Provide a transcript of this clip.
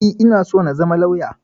E, ina so na zama lauya.